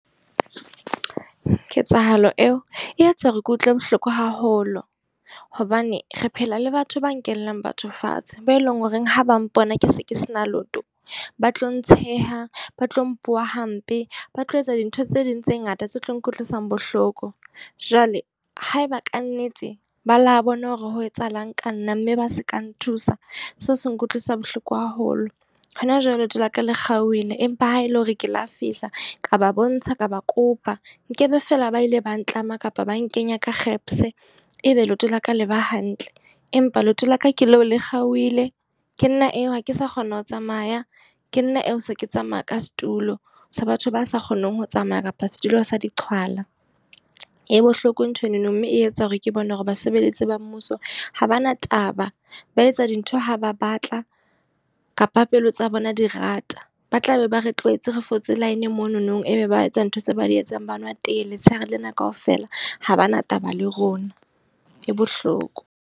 Ketsahalo eo, e etsa hore ke utlwe bohloko haholo. Hobane re phela le batho ba nkellang batho fatshe. Be e leng ho reng ha ba mpona ke se ke sena leoto, ba tlo ntsheha, ba tlo mpuwa hampe, ba tlo etsa dintho tse ding tse ngata tse tlo nkutlwisang bohloko. Jwale haeba kannete ba la bona hore ho etsahalang ka nna mme ba se ka nthusa. Seo se nkutlwisa bohloko haholo. Hona jwale leoto laka le kgaohile. Empa ha e le hore ke lo fihla, ka ba bontsha ka ba kopa. Nkebe feela ba ile ba ntlama kapa ba nkenya ka e be leoto la ka le ba hantle. Empa leoto la ka ke leo le kgaohile. Ke nna eo ha ke sa kgona ho tsamaya, ke nna eo so ke tsamaya ka setulo sa batho ba sa kgoneng ho tsamaya kapa setulo sa di qhwala. E bohloko nthwenono mme e etsa hore ke bona hore basebeletsi ba mmuso ha bana taba, ba etsa dintho ha ba batla kapa pelo tsa bona di rata. Ba tla be ba re tlwaetse re fotse line monono, ebe ba etsa ntho tse ba di etsang ba nwa tee letshehare lena kaofela ha bana taba le rona. E bohloko.